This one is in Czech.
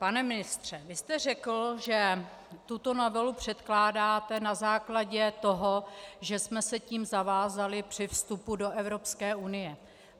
Pane ministře, vy jste řekl, že tuto novelu předkládáte na základě toho, že jsme se tím zavázali při vstupu do Evropské unie.